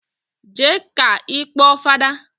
Jee ka ikpọ fada